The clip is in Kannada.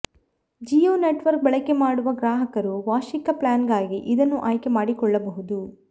ಜಿಯೋ ನೆಟವರ್ಕ ಬಳಕೆಮಾಡುವ ಗ್ರಾಹಕರು ವಾರ್ಷಿಕ ಪ್ಲ್ಯಾನಗಾಗಿ ಇದನ್ನು ಆಯ್ಕೆ ಮಾಡಿಕೊಳ್ಳಬಹುದು